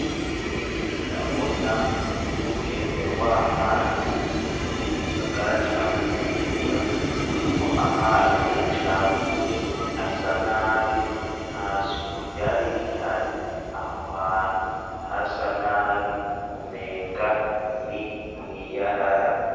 Ndabona umugende w'amazi wo mu gisagara ca bujumbura urimwo amazi acafuye asa nabi nta suku ryari rihari aho hantu hasa nabi umenga ni mw'iyarara.